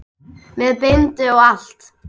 Með bindi og allt!